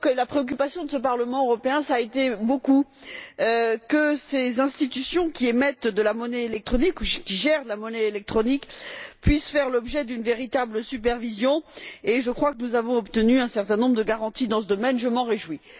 C'est pourquoi ce Parlement européen a surtout tenu à ce que ces institutions qui émettent de la monnaie électronique, qui gèrent de la monnaie électronique, puissent faire l'objet d'une véritable supervision, et je crois que nous avons obtenu un certain nombre de garanties dans ce domaine. Je m'en réjouis.